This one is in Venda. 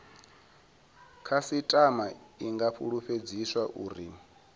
khasitama i nga fulufhedziswa uri